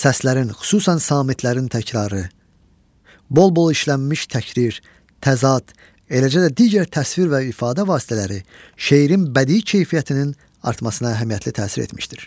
Səslərin xüsusən samitlərin təkrarı, bol-bol işlənmiş təkrir, təzad, eləcə də digər təsvir və ifadə vasitələri şeirin bədii keyfiyyətinin artmasına əhəmiyyətli təsir etmişdir.